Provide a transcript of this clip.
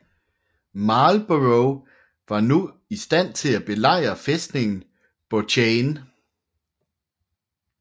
Marlborough var nu i stand til at belejre fæstningen Bouchain